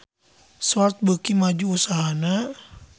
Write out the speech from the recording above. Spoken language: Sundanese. Swatch beuki maju usahana